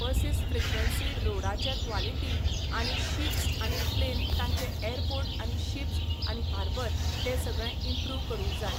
बसीस frequency रोडाचें quality आनी ships आनी प्लेन ताचे एयरपोर्ट आनी शिप्स आनी हार्बर तें सगळें इम्प्रूव करूंक जाय.